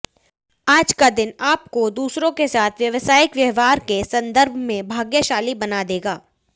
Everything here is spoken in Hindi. आज का दिन आपको दूसरों के साथ व्यावसायिक व्यवहार के सन्दर्भ में भाग्यशाली बना देगा